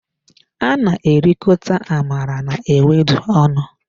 A na erikota amala na ewedu ọnụ.